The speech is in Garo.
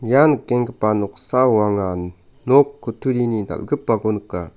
ia nikenggipa noksao angan nok kutturini dal·gipako nika.